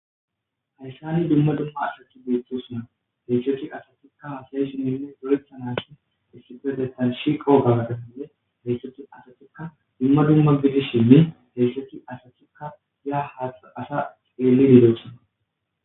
hayssani dumma dumma aasti beetosona heysati asatikka hasay shininne dorethanashi issifedetalshi kowogagatafinne heessethi asatikka dumma dumma bizi shinni heessethi asatikka yaa haa asa xeelid dosona